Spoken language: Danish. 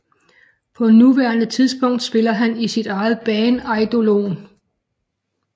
På nuværende tidspunkt spiller han i sit eget band Eidolon